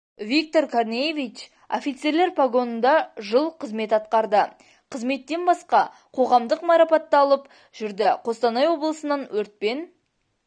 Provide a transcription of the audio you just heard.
виктор корнеевич офицерлер погонында жыл қызмет атқарды қызметтен басқа қоғамдық марапатты алып жүрді қостанай облысының өртпен